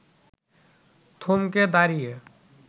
থমকে দাঁড়িয়ে